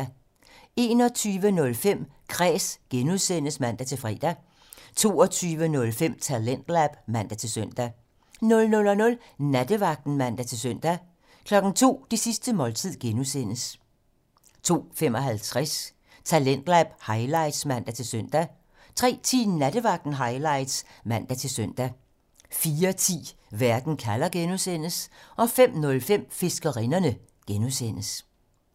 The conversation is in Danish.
21:05: Kræs (G) (man-fre) 22:05: Talentlab (man-søn) 00:00: Nattevagten (man-søn) 02:00: Det sidste måltid (G) 02:55: Talentlab highlights (man-søn) 03:10: Nattevagten Highlights (man-søn) 04:10: Verden kalder (G) 05:05: Fiskerinderne (G)